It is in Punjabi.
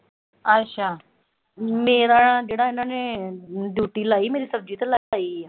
ਮੇਰਾ, ਜਿਹੜਾ ਇਨਾਂ ਨੇ ਡਿਊਟੀ ਲਾਈ ਮੇਰੀ, ਸਬਜ਼ੀ ਤੇ ਲਾਈ ਹੋਈ ਆ।